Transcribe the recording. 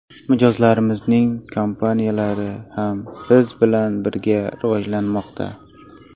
Mijozlarimizning kompaniyalari ham biz bilan birga rivojlanmoqda.